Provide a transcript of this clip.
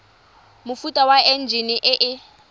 mofuta wa enjine e e